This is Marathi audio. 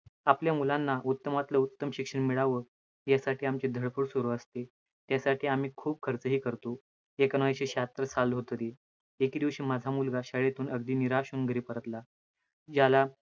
आपल्या मुलांना उत्तमातलं उत्तम शिक्षण मिळावं, यासाठी आमची धडपड सुरू असते, त्यासाठी आम्ही खूप खर्चही करतो. एकोणविसशे शाहत्तर साल होतं ते, एके दिवशी माझा मुलगा शाळेतून अगदी निराश होऊन घरी परतला, ज्याला